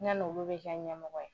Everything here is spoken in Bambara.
Ne n'olu bi kɛ ɲɛmɔgɔ ye